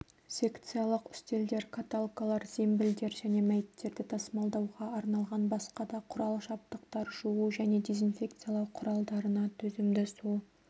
секциялық үстелдер каталкалар зембілдер және мәйіттерді тасымалдауға арналған басқа да құрал-жабдықтар жуу және дезинфекциялау құралдарына төзімді су